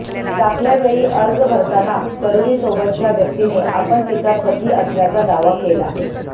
दाखल्यावेळी अर्ज भरताना तरुणीसोबतच्या व्यक्तिने आपण तिचा पती असल्याचा दावा केला